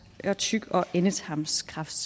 og tyk og endetarmskræft